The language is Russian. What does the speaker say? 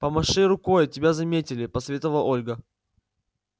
помаши рукой тебя заметили посоветовала ольга